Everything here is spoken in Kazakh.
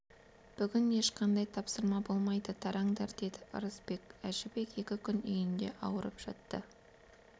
бүгін ешқандай тапсырма болмайды тараңдар деді ырысбек әжібек екі күн үйінде ауырып жатты